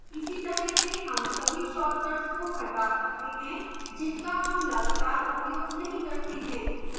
इसी तरह से हम सभी shortcuts को हटा सकते हैं जिनका हम लगातार उपयोग नहीं करते हैं